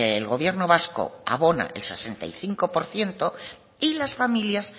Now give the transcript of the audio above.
el gobierno vasco abona el sesenta y cinco por ciento y las familias